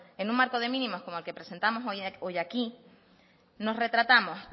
en un marco de mínimos como el que presentamos hoy aquí nos retratamos